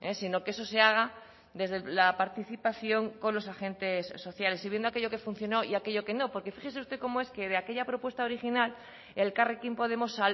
sino que eso se haga desde la participación con los agentes sociales y viendo aquello que funcionó y aquello que no porque fíjese usted cómo es que de aquella propuesta original elkarrekin podemos